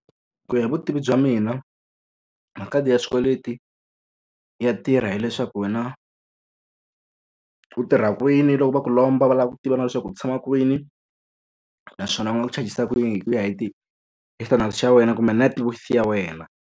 Ku ya hi vutivi bya mina, makhadi ya swikweleti ya tirha hileswaku wena u tirha kwini, loko va ku lomba va lava ku tiva na leswaku u tshama kwini, naswona va ha ku chajisa kwihi ku ya hi hi standard xa wena kumbe networth ya wena.